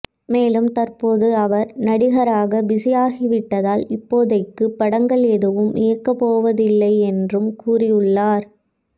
மேலும் தற்போது அவர் நடிகராக பிசியகிவிட்டதால் இப்போதைக்கு படங்கள் எதுவும் இயக்க போவதில்லை என்றும் கூறியுள்ளார்